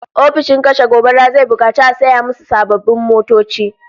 Ofishin kashe gobara zai bukaci a saya musu sababbin motoci